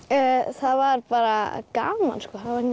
það var bara gaman